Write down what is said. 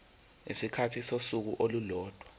isikhathi sosuku olulodwa